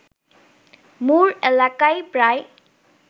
মুর এলাকায় প্রায়